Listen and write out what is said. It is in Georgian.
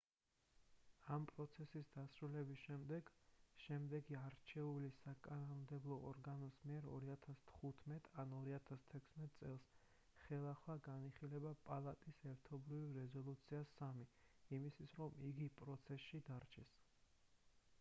ამ პროცესის დასრულების შემდეგ შემდეგი არჩეული საკანონმდებლო ორგანოს მიერ 2015 ან 2016 წელს ხელახლა განიხილება პალატის ერთობლივი რეზოლუცია 3 hjr-3 იმისთვის რომ იგი პროცესში დარჩეს